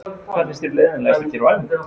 Hvað finnst þér leiðinlegast að gera á æfingu?